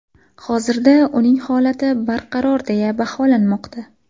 Hozirda uning holati barqaror deya baholanmoqda.